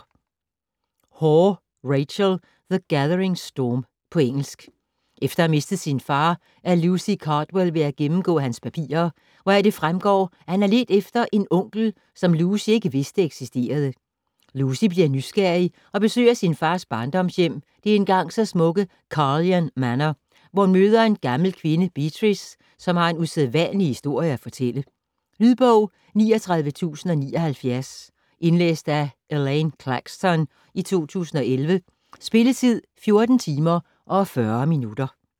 Hore, Rachel: The gathering storm På engelsk. Efter at have mistet sin far er Lucy Cardwell ved at gennemgå hans papirer, hvoraf det fremgår at han har ledt efter en onkel, som Lucy ikke vidste eksisterede. Lucy bliver nysgerrig og besøger sin fars barndomshjem, det engang så smukke Carlyon Manor, hvor hun møder en gammel kvinde, Beatrice, som har en usædvanlig historie at fortælle ... Lydbog 39079 Indlæst af Elaine Claxton, 2011. Spilletid: 14 timer, 40 minutter.